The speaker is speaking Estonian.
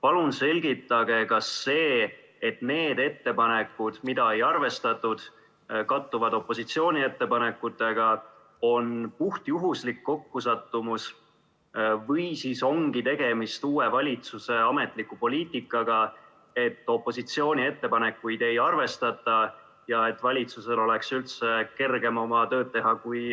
Palun selgitage, kas see, et need ettepanekud, mida ei arvestatud, kattuvad opositsiooni ettepanekutega, on puhtjuhuslik kokkusattumus või siis ongi tegemist uue valitsuse ametliku poliitikaga, et opositsiooni ettepanekuid ei arvestata ja et valitsusel oleks üldse kergem tööd teha, kui